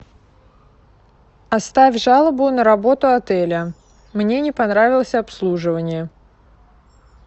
оставь жалобу на работу отеля мне не понравилось обслуживание